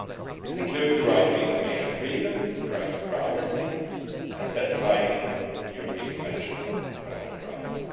This includes the right to information freedom and the right to privacy as specified in the European Convention of Fundamental Rights.